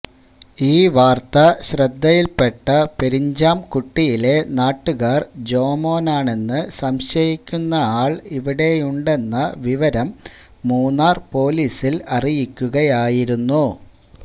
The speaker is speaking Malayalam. ഈ വാര്ത്ത ശ്രദ്ധയില്പ്പെട്ട പെരിഞ്ചാംകുട്ടിയിലെ നാട്ടുകാര് ജോമോനാണെന്ന് സംശയിക്കുന്നയാള് ഇവിടെയുണ്ടെന്ന വിവരം മൂന്നാര് പോലീസില് അറിയിക്കുകയായിരുന്നു